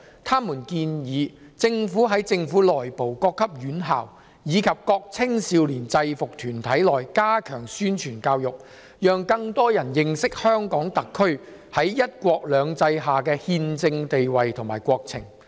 他們建議政府在政府內部、各級院校，以及各青少年制服團體內加強宣傳教育，讓更多人認識香港特區在"一國兩制"下的憲政地位和國情。